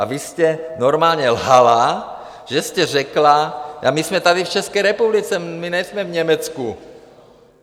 A vy jste normálně lhala, že jste řekla - a my jsme tady v České republice, my nejsme v Německu.